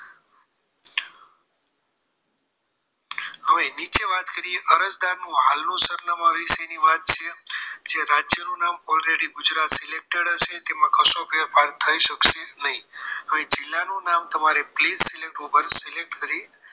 હવે નીચે વાત કરીએ અરજદારનું હાલનું સરનામું વિશેની વાત છે કે રાજ્યનું નામ already ગુજરાત selected હશે તેમાં કશું ફેરફાર થઈ શકશે નહીં હવે જિલ્લાનું નામ please select ઉપર select કરી